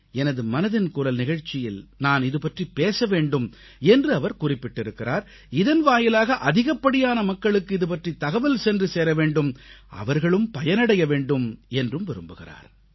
எனது மனதின் குரல் நிகழ்ச்சியில் நான் இது பற்றிப் பேச வேண்டும் என்று அவர் குறிப்பிட்டிருக்கிறார் இதன் வாயிலாக அதிகப்படியான மக்களுக்கு இதுபற்றித் தகவல் சென்றுசேர வேண்டும் அவர்களும் பயனடைய வேண்டும் என்றும் விரும்புகிறார்